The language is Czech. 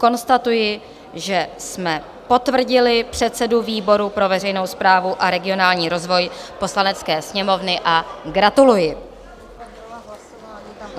Konstatuji, že jsme potvrdili předsedu výboru pro veřejnou správu a regionální rozvoj Poslanecké sněmovny a gratuluji.